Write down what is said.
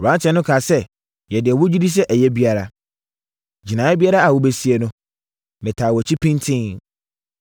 Aberanteɛ no kaa sɛ, “Yɛ deɛ wogye di sɛ ɛyɛ biara. Gyinaeɛ biara a wobɛsie no, metaa wʼakyi pintinn.”